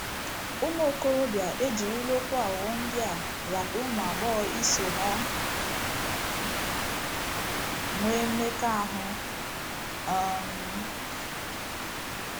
Ụmụ okorobịa ejirila okwu aghụghọ ndị a rata ụmụ agbọghọ iso ha nwee mmekọahụ. um